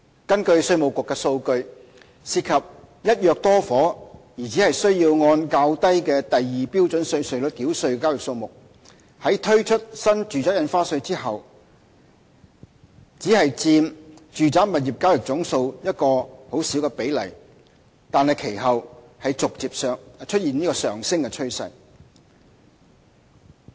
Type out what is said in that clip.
根據稅務局的數據，涉及"一約多伙"而只須按較低的第2標準稅率繳稅的交易數目，在新住宅印花稅推出後只佔住宅物業交易總數一個很小的比例，但其後逐漸出現上升的趨勢。